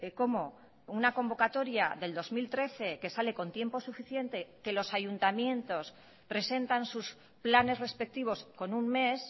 cómo una convocatoria del dos mil trece que sale con tiempo suficiente que los ayuntamientos presentan sus planes respectivos con un mes